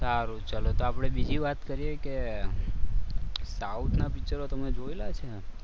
સારું ચાલો તો આપણે બીજી વાત કરીએ કે સાઉથ ના પિક્ચરો તમે જોયેલા છે?